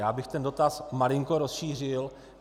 Já bych ten dotaz malinko rozšířil.